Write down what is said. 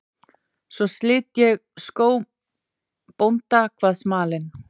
Svo slit ég skóm bónda, kvað smalinn.